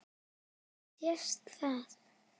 Sést það?